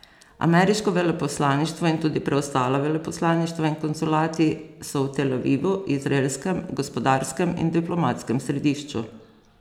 Ameriško veleposlaništvo in tudi preostala veleposlaništva in konzulati so v Tel Avivu, izraelskem gospodarskem in diplomatskem središču.